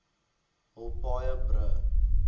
huise paaie brûe